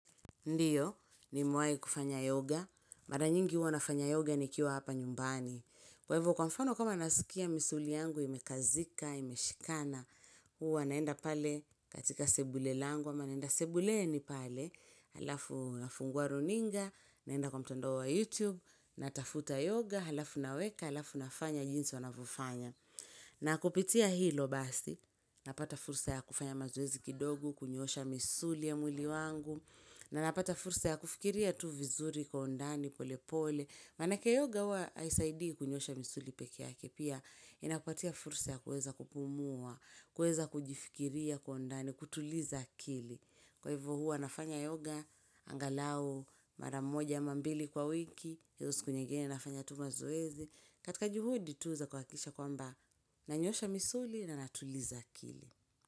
Ndio, ni mewai kufanya yoga, mara nyingi hua nafanya yoga ni kiwa hapa nyumbani. Kwa ivo kwa mfano kama nasikia misuli yangu imekazika, imeshikana, hua naenda pale katika sebule langu, ama naenda sebule ni pale, alafu nafungua runinga, naenda kwa mtandao wa YouTube, natafuta yoga, alafu naweka, alafu nafanya jinsi wanavofanya. Na kupitia hilo basi, napata fursa ya kufanya mazoezi kidogo, kunyoosha misuli ya mwili wangu, na napata fursa ya kufikiria tu vizuri kwa undani pole pole. Mana ke yoga hua aisaidii kunyoosha misuli peke yake. Pia inakupatia fursa ya kueza kupumua, kueza kujifikiria kwa ondani, kutuliza akili. Kwa hivo hua nafanya yoga, angalau, maramoja amambili kwa wiki. Hizo siku nyingine nafanya tu mazoezi. Katika juhudi tu za kua kisha kwamba nanyoosha misuli na natuliza akili.